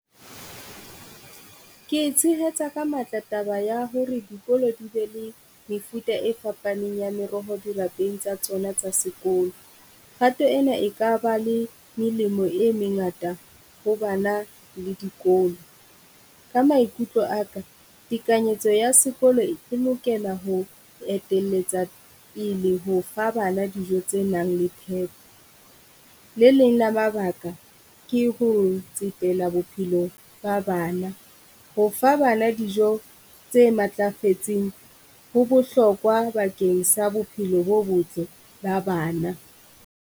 Ke e tshehetsa ka matla taba ya hore dikolo di be le mefuta e fapaneng ya meroho dirapeng tsa tsona tsa sekolo. Kgato ena e ka ba le melemo e mengata ho bana le dikolo, ka maikutlo a ka tekanyetso sekolo e lokela ho etelletsa pele ho fa bana dijo tse nang le phepo. Le leng la mabaka ke ho tsetela bophelo ba bana, ho fa bana dijo tse matlafetseng ho bohlokwa bakeng sa bophelo bo botle ba bana.